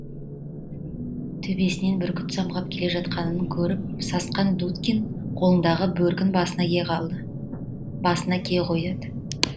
төбесінен бүркіт самғап желе жатқанын көріп сасқан дудкин қолындағы бөркін басына кие қояды